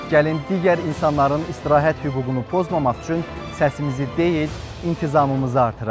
Gəlin digər insanların istirahət hüququnu pozmamaq üçün səsimizi deyil, intizamımızı artıraq.